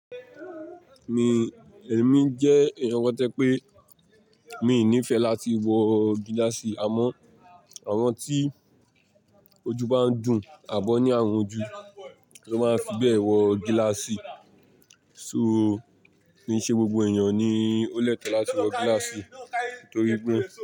Mi, èmi jẹ́ èèyàn kan tó je pé mi ò ní ìfẹ́ láti wọ gíláàsì àmọ́ àwọn tí ojú bá ń dùn àbọ́ ní àrùn ojú ló máa fi bẹ́ẹ̀ wọ gíláàsì. So, kì í ṣe gbogbo èèyàn ni ó lẹ́tọ láti wọ gíláàsì torí pé.